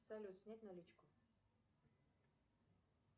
салют снять наличку